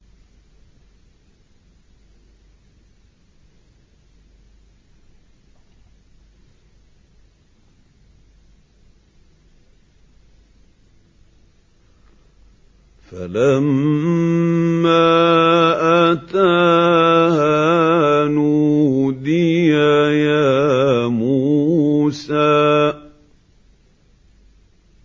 فَلَمَّا أَتَاهَا نُودِيَ يَا مُوسَىٰ